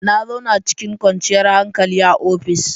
Na zauna cikin kwanciyar hankali a ofis.